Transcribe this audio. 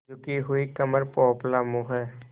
झुकी हुई कमर पोपला मुँह